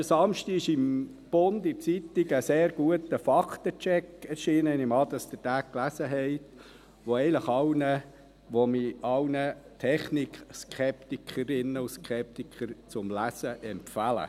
Letzten Samstag erschien in der Zeitung «Der Bund» ein sehr guter Faktencheck – ich nehme an, dass Sie ihn gelesen haben –, den ich allen TechnikSkeptikerinnen und -Skeptikern zur Lektüre empfehle.